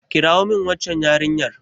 kirawo min waccan yarinyar!